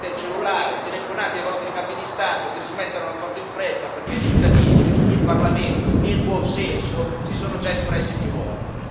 Prendete il cellulare, telefonate ai vostri capi di Stato che si mettano d'accordo in fretta perché i cittadini, il Parlamento e il buon senso si sono già espressi più volte.